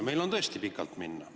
Meil on tõesti pikalt minna.